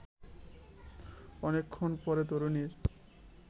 অনেক্ষণ পরে তরুণীর